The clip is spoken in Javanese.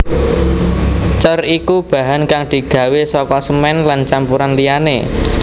Cor iku bahan kang digawé saka semèn lan campuran liyané